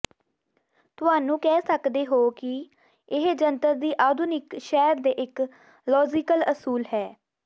ਤੁਹਾਨੂੰ ਕਹਿ ਸਕਦੇ ਹੋ ਕਿ ਇਹ ਜੰਤਰ ਦੀ ਆਧੁਨਿਕ ਸ਼ਹਿਰ ਦੇ ਇੱਕ ਲਾਜ਼ੀਕਲ ਅਸੂਲ ਹੈ